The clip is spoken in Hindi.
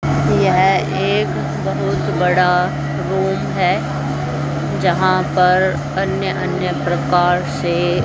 यह एक बहुत बड़ा रूम है जहां पर अन्य अन्य प्रकार से--